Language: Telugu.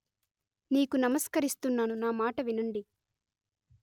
నీకు నమస్కరిస్తున్నాను నా మాట వినండి